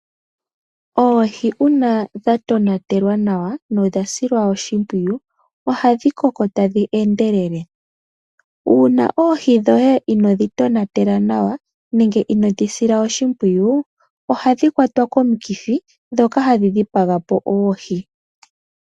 Oohi uuna dha tonatelwa nawa nodha silwa oshimpwiyu ohadhi koko tadhi endelele. Uuuna oohi dhoye inodhi tonatela nawa no inodhi sila oshimpwiyu ohadhi dhipagwa po komikithi ndhoka hadhi kwata oohi.